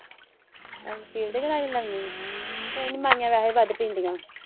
ਅੱਛਾ ਸਟੀਲ ਦੇ ਗਿਲਾਸ ਚ ਲਾਉਣੀ ਆ ਕੋਈ ਨਹੀਂ ਮਾਈਆ ਵੈਸੇ ਵੀ ਵੱਧ ਪੀਂਦੀਆਂ।